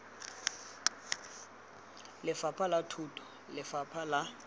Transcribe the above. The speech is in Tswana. lefapha la thuto lefapha la